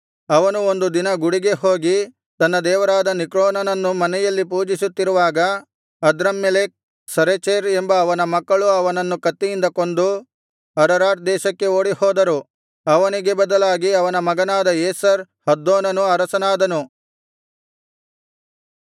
ಅವನು ಒಂದು ದಿನ ಗುಡಿಗೆ ಹೋಗಿ ತನ್ನ ದೇವರಾದ ನಿಸ್ರೋಕನನ್ನು ಮನೆಯಲ್ಲಿ ಪೂಜಿಸುತ್ತಿರುವಾಗ ಅದ್ರಮ್ಮೆಲೆಕ್ ಸರೆಚೆರ್ ಎಂಬ ಅವನ ಮಕ್ಕಳು ಅವನನ್ನು ಕತ್ತಿಯಿಂದ ಕೊಂದು ಅರರಾಟ್ ದೇಶಕ್ಕೆ ಓಡಿಹೋದರು ಅವನಿಗೆ ಬದಲಾಗಿ ಅವನ ಮಗನಾದ ಏಸರ್ ಹದ್ದೋನನು ಅರಸನಾದನು